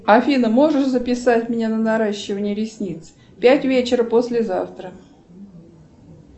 афина можешь записать меня на наращивание ресниц пять вечера послезавтра